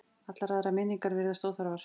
Allar aðrar minningar virðast óþarfar.